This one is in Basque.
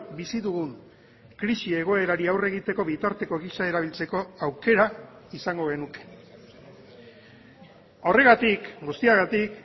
bizi dugun krisi egoerari aurre egiteko bitarteko gisa erabiltzeko aukera izango genuke horregatik guztiagatik